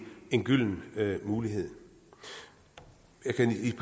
en gylden mulighed jeg kan i